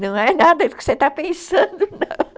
Não é nada do que você está pensando.